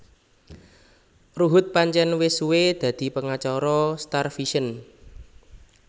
Ruhut pancén wis suwé dadi pengacara StarVision